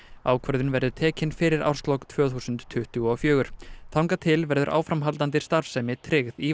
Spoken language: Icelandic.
ákvörðun verður tekin fyrir árslok tvö þúsund tuttugu og fjögur þangað til verður áframhaldandi starfsemi tryggð í